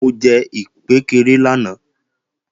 Mo jẹ ìkpékeré lánàá